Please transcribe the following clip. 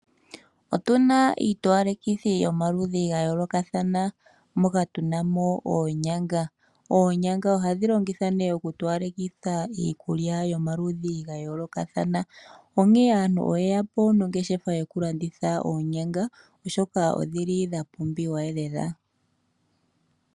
Otuna iitowalekithi yomaludhi gayolokathana moka tunamo oonyanga. Oonyanga ohadhi longithwa oku towalekitha iikulya yomaludhi gayolokathana, onkee aantu oyeya po nongeshefa yokulanditha oonyanga, oshoka odha pumbiwa lela.